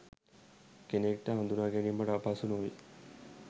කෙනෙක්ට හදුනාගැනීමට අපහසු නොවේ